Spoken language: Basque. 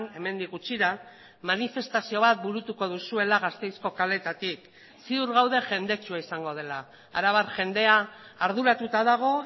hemendik gutxira manifestazio bat burutuko duzuela gasteizko kaleetatik ziur gaude jendetsua izango dela arabar jendea arduratuta dago